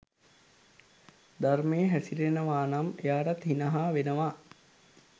ධර්මයේ හැසිරෙනවා නම් එයාටත් හිනහා වෙනවා.